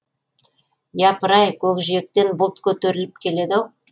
япыр ай көкжиектен бұлт көтеріліп келеді ау